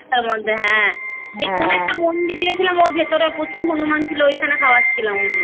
এক তার মধ্যে হ্যা সে কোনো একটা মন্দিরে গেসলাম ওর ভিতরে অনেক হনুমান ছিল ঐখানে খাওয়াচ্ছিলাম আমরা